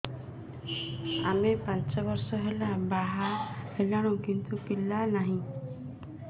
ଆମେ ପାଞ୍ଚ ବର୍ଷ ହେଲା ବାହା ହେଲୁଣି କିନ୍ତୁ ପିଲା ନାହିଁ